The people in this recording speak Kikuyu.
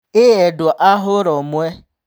" ĩĩ endwa a hũra-ũmwe!